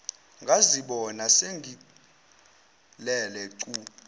ngazibona sengilele cu